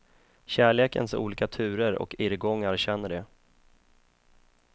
Kärlekens olika turer och irrgångar känner de.